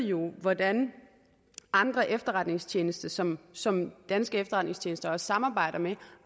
jo ved hvordan andre efterretningstjenester som som danske efterretningstjenester også samarbejder med